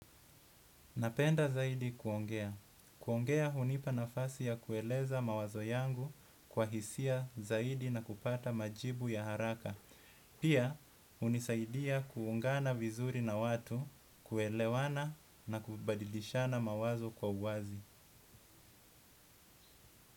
Napenda zaidi kuongea. Kuongea hunipa nafasi ya kueleza mawazo yangu kwa hisia zaidi na kupata majibu ya haraka. Pia hunisaidia kuungana vizuri na watu, kuelewana na kubadilishana mawazo kwa uwazi.